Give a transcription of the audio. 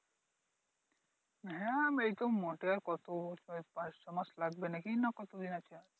হ্যাঁ এইতো মোটেই আর কতো পাঁচ ছয় মাস লাগবে নাকি দেখি না কতদিন আছে আর।